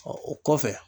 Ɔ o kɔfɛ